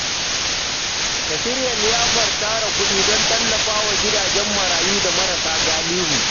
Ka shirya liyafar tara kuɗi don tallafawa gidajen marayu da marasa galihu.